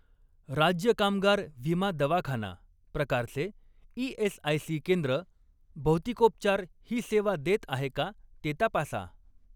राज्य कामगार विमा दवाखाना प्रकारचे ई.एस.आय.सी. केंद्र भौतिकोपचार ही सेवा देत आहे का ते तपासा.